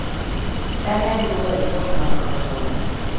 daher mondo ilok maikrofon.